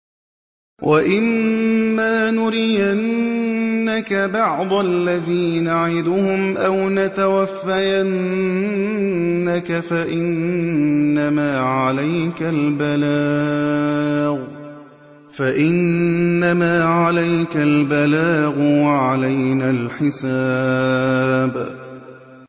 وَإِن مَّا نُرِيَنَّكَ بَعْضَ الَّذِي نَعِدُهُمْ أَوْ نَتَوَفَّيَنَّكَ فَإِنَّمَا عَلَيْكَ الْبَلَاغُ وَعَلَيْنَا الْحِسَابُ